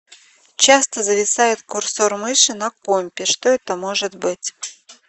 часто зависает курсор мыши на компе что это может быть